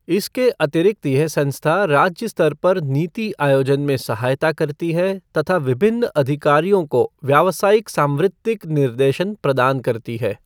इसके अतिरिक्त यह संस्था राज्य स्तर पर नीति आयोजन में सहायता करती है तथा विभिन्न अधिकारियों को व्यावसायिक सांवृत्तिक निर्देशन प्रदान करती है।